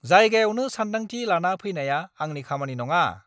जायगायावनो सानदांथि लाना फैनाया आंनि खामानि नङा!